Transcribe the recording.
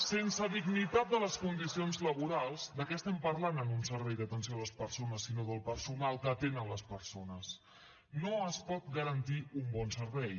sense dignitat en les condicions laborals de què estem parlant en un servei d’atenció a les persones sinó del personal que atén les persones no es pot garantir un bon servei